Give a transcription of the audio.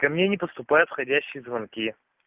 ко мне не поступают входящие звонки